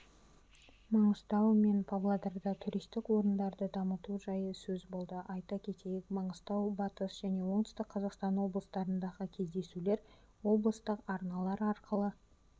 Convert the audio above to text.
маңғыстау мен павлодарда туристік орындарды дамыту жайы сөз болды айта кетейік маңғыстау батыс және оңтүстік қазақстан облыстарындағы кездесулер облыстық арналар арқылы